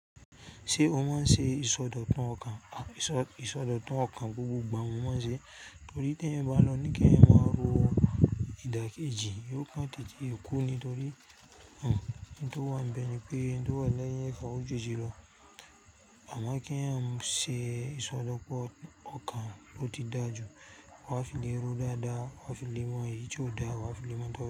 Ṣé o máa ń ṣe ìsọdọ̀tun ọkàn? À ìsọ ìsọdọ̀tun ọkàn gbogbo ìgbà mo máa ń ṣe. Torí tí ẹeyan bá lọ́ ní kí ẹ máa ro ìdàkejì, yóò kán tètè kú ni torí ohun tó wà níbẹ̀ ni pé ohun tó wà lẹ́yìn ẹfa ò ju eje lọ. Àmọ́ kí ẹeyan máa ṣe ìsọdọ̀pọ̀ ọkàn ó ti dáa jù, wà á fi lé e rú dáadáa, wà á fi le mọ èyí tí ó da, wà á fi le mọ ìdá.